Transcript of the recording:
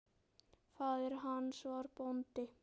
Faðir hans var bóndi.